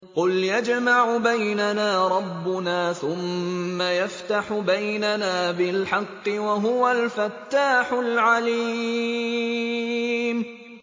قُلْ يَجْمَعُ بَيْنَنَا رَبُّنَا ثُمَّ يَفْتَحُ بَيْنَنَا بِالْحَقِّ وَهُوَ الْفَتَّاحُ الْعَلِيمُ